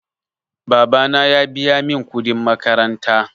Babana ya biya min kudin makaranta.